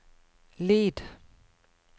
lyd